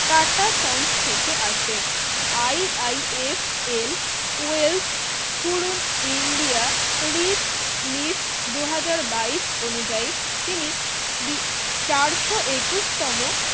tata sons থেকে আসে IIFLwell পুরো India Rich list দুই হাজার বায়ীশ অনুযায়ী তিনি চারশো একুশ তম